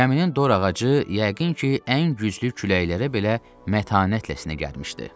Gəminin dor ağacı yəqin ki, ən güclü küləklərə belə mətanətlə sinə gəlmişdi.